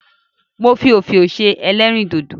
Mo fi òfiò ṣe ẹlẹ́rìndòdò.